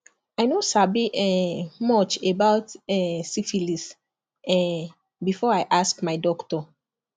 i no sabi um much about um syphilis um before i ask my doctor